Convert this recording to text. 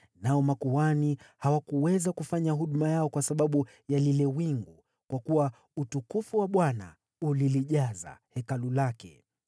Nao makuhani hawakuweza kufanya huduma yao kwa sababu ya lile wingu, kwa kuwa utukufu wa Bwana ulijaza Hekalu lake.